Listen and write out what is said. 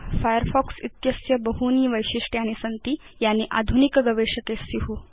Firefox इत्यस्य बहूनि वैशिष्ट्यानि सन्ति यानि आधुनिक गवेषके स्यु